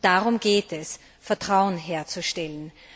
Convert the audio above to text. Darum geht es Vertrauen herzustellen!